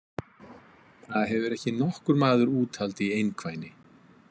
Það hefur ekki nokkur maður úthald í einkvæni!